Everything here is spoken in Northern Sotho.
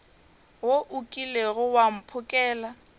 wo o kilego wa mphokela